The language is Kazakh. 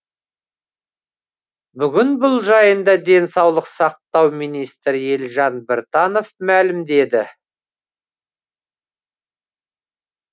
бүгін бұл жайында денсаулық сақтау министрі елжан біртанов мәлімдеді